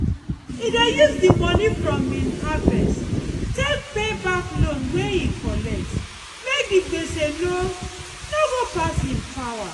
e dey use the money from him harvest take dey pay back loan wey e collect make the gbese no no go pass him power.